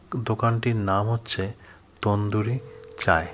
দোকানটির নাম হচ্ছে তন্দুরি চায় .